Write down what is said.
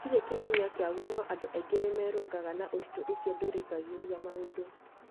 Gũtirĩ kĩhonia kiaguo no andũ aingĩ nĩ merũnganga na ũritũ ũcio ndũrĩgagĩrĩa maũndũ.